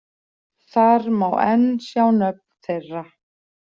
Þar má enn sjá nöfn þeirra.